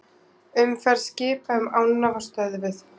Umferð skipa um ána var stöðvuð